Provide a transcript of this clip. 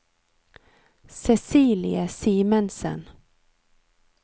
Cecilie Simensen